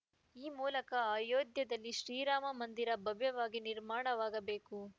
ಈ ಮೂಲಕ ಅಯೋಧ್ಯೆಯಲ್ಲಿ ಶ್ರೀರಾಮ ಮಂದಿರ ಭವ್ಯವಾಗಿ ನಿರ್ಮಾಣವಾಗಬೇಕು